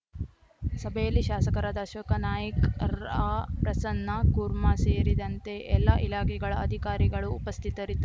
ಸಭೆಯಲ್ಲಿ ಶಾಸಕರಾದ ಅಶೋಕ ನಾಯ್ಕ ರ್ ಅ ಆರ್‌ಪ್ರಸನ್ನ ಕುರ್ಮಾ ಸೇರಿದಂತೆ ಎಲ್ಲಾ ಇಲಾಖೆಗಳ ಅಧಿಕಾರಿಗಳು ಉಪಸ್ಥಿತರಿದ್ದರು